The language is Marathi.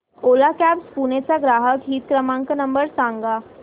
ओला कॅब्झ पुणे चा ग्राहक हित क्रमांक नंबर सांगा